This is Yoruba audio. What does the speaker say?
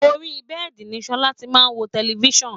Orí bẹ́ẹ̀́di ni Sọla ti máa wo tẹlififíṣàn